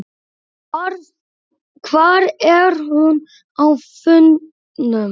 Hvar er hún á fundum?